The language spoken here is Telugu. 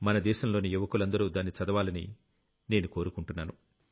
మన దేశంలోని యువకులందరూ దాన్ని చదవాలని నేను కోరుకుంటున్నాను